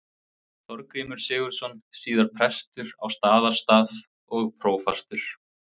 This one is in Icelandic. Þorgrímur Sigurðsson, síðar prestur á Staðarstað og prófastur.